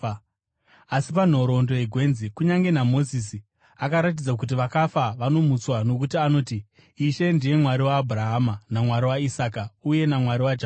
Asi panhoroondo yegwenzi, kunyange naMozisi akaratidza kuti vakafa vanomutswa, nokuti anoti, Ishe ndiye ‘Mwari waAbhurahama, naMwari waIsaka, uye naMwari waJakobho.’